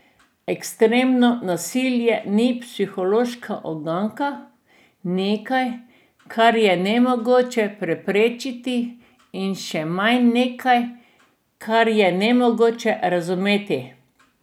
Ekstremno nasilje ni psihološka uganka, nekaj, kar je nemogoče preprečiti, in še manj nekaj, kar je nemogoče razumeti.